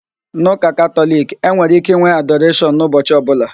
N'ụka Katọliki, e nwere íké ịnwe adoreshọn n'ụbọchi ọbụla